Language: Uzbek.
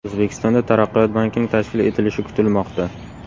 O‘zbekistonda Taraqqiyot bankining tashkil etilishi kutilmoqda.